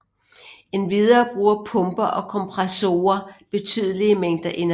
Endvidere bruger pumper og kompressorer betydelige mængder energi